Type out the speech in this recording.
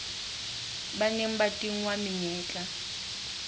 ba neng ba tingwa menyetla